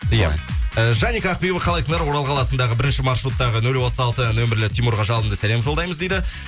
иә жаник ақбибі қалайсыздар орал қаласындағы бірінші маршруттағы нөл отыз алты нөмірлі тимурға жалынды сәлем жолдаймыз дейді